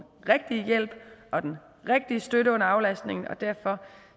rigtige hjælp og den rigtige støtte under aflastningen og derfor